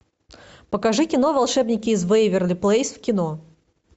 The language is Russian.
покажи кино волшебники из вэйверли плэйс в кино